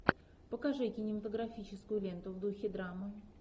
покажи кинематографическую ленту в духе драмы